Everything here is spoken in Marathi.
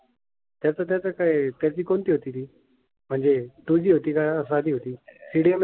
त्याच त्याच काय आहे त्याची कोणती होती ती? म्हणजे टू जी होती का साधी होती. CDMA होती?